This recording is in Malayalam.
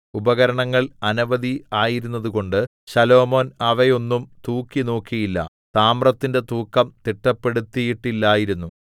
ഉപകരണങ്ങൾ അനവധി ആയിരുന്നതുകൊണ്ട് ശലോമോൻ അവയൊന്നും തൂക്കിനോക്കിയില്ല താമ്രത്തിന്റെ തൂക്കം തിട്ടപ്പെടുത്തിയിട്ടില്ലായിരുന്നു